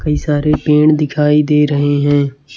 कई सारे पेड़ दिखाई दे रहे हैं।